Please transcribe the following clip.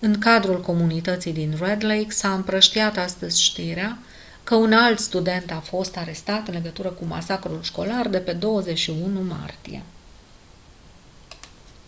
în cadrul comunității din red lake s-a împrăștiat astăzi știrea că un alt student a fost arestat în legătură cu masacrul școlar de pe 21 martie